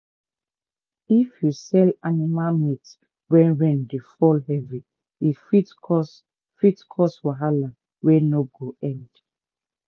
if you sell animal meat when rain dey fall heavy e fit cause fit cause wahala wey no go end